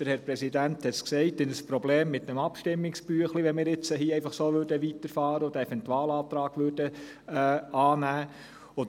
Wir werden ein Problem mit dem Abstimmungsbüchlein haben – der Präsident hat es gesagt –, wenn wir hier einfach so weiterfahren und den Eventualantrag annehmen würden.